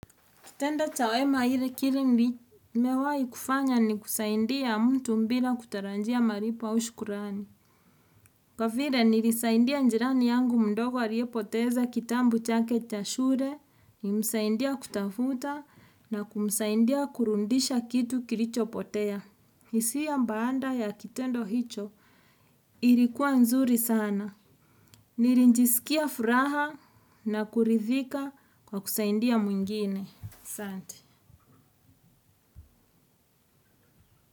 Kitendo cha wema nimewai fanya ni kusaidia mtu bila kutarajia malipo au shukrani kwa vile nilisaidia jirani yangu mdogo aliyepoteza kitabu chake cha shule, nilisaidia kutafuta na kumsaidia kurudisha kitu kilicho potea. Hisia baada ya kitendo hicho ilikuwa nzuri sana. Nilijiskia furaha na kuridhika kwa kusaidia mwingine. Asante.